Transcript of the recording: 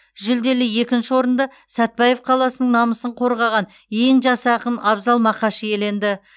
жүлделі екінші орынды сәтбаев қаласының намысын қорғаған ең жас ақын абзал мақаш иеленді